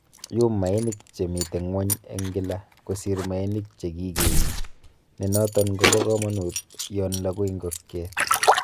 Iyuum mainik chemiten ngwony en kila, kosir mainik che kikenye, nenoton kobo komonut yon logu ingokyet.